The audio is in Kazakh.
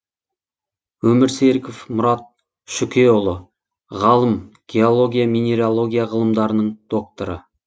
өмірсеріков мұрат шүкеұлы ғалым геология минералогия ғылымдарының докторы